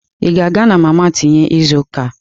Ị ga-aga na mama tinye izu ụka a?